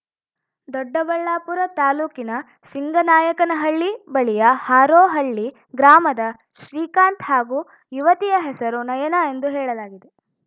ದೊಡ್ಡಬಳ್ಳಾಪುರ ತಾಲೂಕಿನ ಸಿಂಗನಾಯಕನಹಳ್ಳಿ ಬಳಿಯ ಹಾರೋಹಳ್ಳಿ ಗ್ರಾಮದ ಶ್ರೀಕಾಂತ್‌ ಹಾಗೂ ಯುವತಿಯ ಹೆಸರು ನಯನ ಎಂದು ಹೇಳಲಾಗಿದೆ